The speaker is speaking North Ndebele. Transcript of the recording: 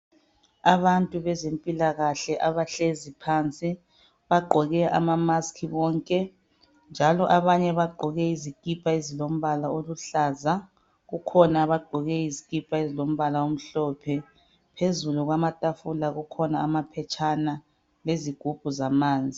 Abantu bezempilakahle abahlezi phansi, bagqoke ama mask bonke, njalo abanye baggoke izikipa ezilombala oluhlaza. Kukhona abagqoke izikipa ezilombala omhlophe. Phezulu kwetafula kulamaphetshana lezigubhu zamanzi.